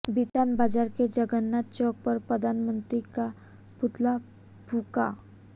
बिथान बाजार के जगन्नाथ चौक पर प्रधानमंत्री का पुतला फूंका